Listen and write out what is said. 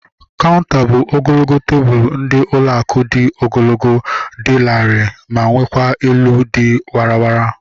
Kaunter bụ ogologo tebụlu ndị ụlọ akụ dị ogologo, dị larịị ma nwekwa elu dị warara